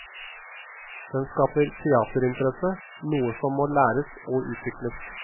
Den skaper teaterinteresse, noe som må læres og utvikles.